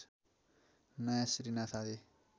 नयाँ श्री नाथ आदि